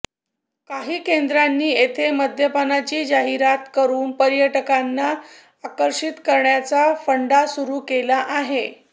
काही केंद्रांनी येथे मद्यपानाची जाहिरात करून पर्यटकांना आकर्षित करण्याचा फंडा सुरू केला आहे